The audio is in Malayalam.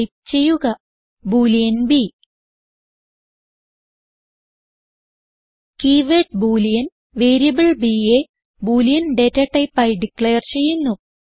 ടൈപ്പ് ചെയ്യുക boolean b keyword boolean variable bയെ ബോളിയൻ ഡേറ്റ ടൈപ്പ് ആയി ഡിക്ളയർ ചെയ്യുന്നു